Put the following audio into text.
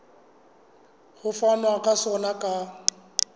ho fanwa ka sona ka